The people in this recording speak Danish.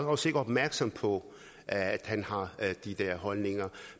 os ikke opmærksom på at han har de der holdninger